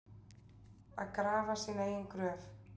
Að grafa sína eigin gröf